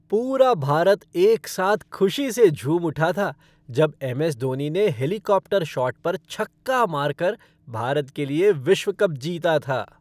पूरा भारत एक साथ खुशी से झूम उठा था जब एमएस धोनी ने हेलीकॉप्टर शॉट पर छक्का मारकर भारत के लिए विश्व कप जीता था।